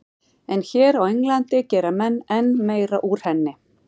En hér á Englandi gera menn enn meira úr henni.